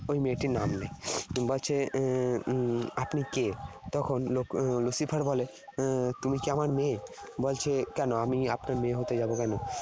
ওই মেয়েটির নাম নেয়। বলছে উহ আপনি কে? তখন Lucifer বলে 'তুমি কি আমার মেয়ে? ' বলছে 'কেন আমি আপনার মেয়ে হতে যাব কেন? '